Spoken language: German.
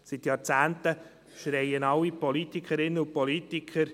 Seit Jahrzehnten schreien alle Politikerinnen und Politiker: